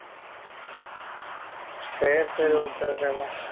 சரி சரி okay okay தான்